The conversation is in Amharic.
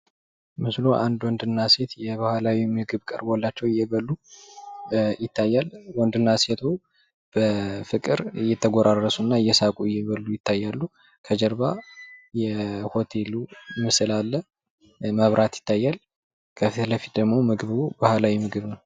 ምስሉ አንድ ወንድ እና ሴት የባህላዊ ምግብ ቀርቦላቸው እየበሉ ይታያል ።ወንድ እና ሴቱ በፍቅር እየተጎራረሱ እና እየሳቁ እየበሉ ይታያሉ። ከጀርባ የሆቴሉ ምስል አለ። መብራት ይታያል ከፊት ለፊት ደግሞ ምግቡ ባህላዊ ምግብ ነው ።